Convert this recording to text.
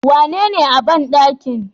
Wanene a banɗakin?